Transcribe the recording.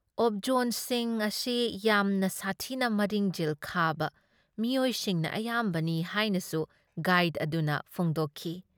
ꯑꯣꯕꯖꯣꯟꯁꯤꯡ ꯑꯁꯤ ꯌꯥꯝꯅ ꯁꯥꯊꯤꯕ ꯃꯔꯤꯡꯖꯦꯜ ꯈꯥꯕ ꯃꯤꯑꯣꯏꯁꯤꯡꯅ ꯑꯌꯥꯝꯕꯅꯤ ꯍꯥꯏꯅꯁꯨ ꯒꯥꯏꯗ ꯑꯗꯨꯅ ꯐꯣꯡꯗꯣꯛꯈꯤ ꯫